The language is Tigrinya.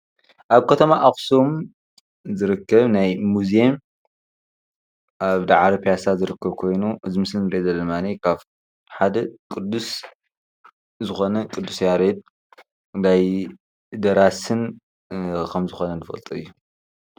አብ ከተማ አኽሱም ዝርከብ ናይ ሙዝየም አብ ዳዕሮ ፒያሳ ዝርከብ ኮይኑ፣ እዚ ምስሊ ንሪአ ዘለና ድማ ሓደ ቅዱስ ዝኾነ ቅዱስ ያሬድ ናይ ደራስን ከምዝኮነ ንፈልጦ እዩ።